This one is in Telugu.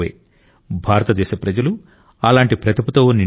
భారతదేశ ప్రజలు అలాంటి ప్రతిభతో నిండి ఉన్నారు